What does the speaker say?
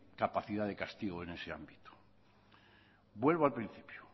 capacidad de castigo en ese ámbito vuelvo al principio